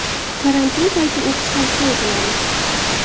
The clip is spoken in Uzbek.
Karantin payti o‘qish tavsiya etiladi.